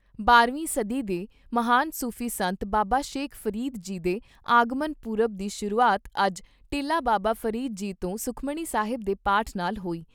ਬਾਰਵੀਂ ਵੀਂ ਸਦੀ ਦੇ ਮਹਾਨ ਸੂਫੀ ਸੰਤ ਬਾਬਾ ਸ਼ੇਖ ਫਰੀਦ ਜੀ ਦੇ ਆਗਮਨ ਪੁਰਬ ਦੀ ਸ਼ੁਰੂਆਤ ਅੱਜ ਟਿੱਲਾ ਬਾਬਾ ਫਰੀਦ ਜੀ ਤੋਂ ਸਖਮਣੀ ਸਾਹਿਬ ਦੇ ਪਾਠ ਨਾਲ ਹੋਈ।